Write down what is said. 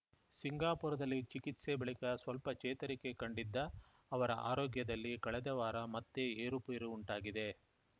ಸಿಂಗಾಪುರದಲ್ಲಿ ಚಿಕಿತ್ಸೆ ಬಳಿಕ ಸ್ವಲ್ಪ ಚೇತರಿಕೆ ಕಂಡಿದ್ದ ಅವರ ಆರೋಗ್ಯದಲ್ಲಿ ಕಳೆದ ವಾರ ಮತ್ತೆ ಏರುಪೇರು ಉಂಟಾಗಿದೆ